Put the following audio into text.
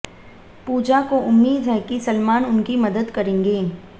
पूजा को उम्मीद है कि सलमान उनकी मदद करेंगे